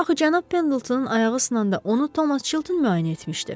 Axı cənab Pendletonun ayağı sınanda onu Thomas Chilton müayinə etmişdi.